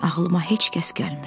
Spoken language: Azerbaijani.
Ağılıma heç kəs gəlmir.